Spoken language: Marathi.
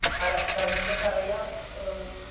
ह्या राजकारण्याला करायला आह